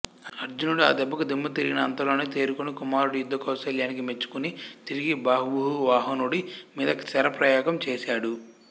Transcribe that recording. అర్జునుడు ఆదెబ్బకు దిమ్మతిరిగినా అంతలోనే తేరుకుని కుమారుడి యుద్ధకౌశలానికి మెచ్చుకుని తిరిగి బభ్రువాహనుడి మీద శరప్రయోగము చేసాడు